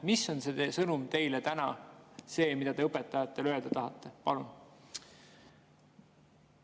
Mis on täna teie sõnum, mida te õpetajatele öelda tahate?